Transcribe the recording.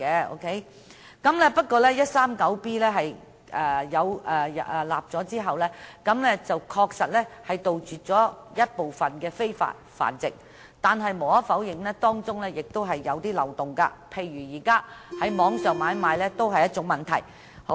在香港法例第 139B 章訂立後，確實能杜絕部分的非法繁殖活動，但無可否認，當中仍有一些漏洞，例如在網上買賣也是一個問題。